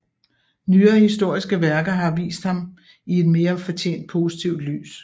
Nyere historiske værker har vist ham i et mere fortjent positivt lys